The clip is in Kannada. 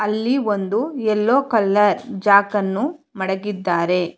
ಅಲ್ಲಿ ಒಂದು ಯಲ್ಲೋ ಕಲರ್ ಜಾಕನ್ನು ಮಡಗಿದ್ದಾರೆ.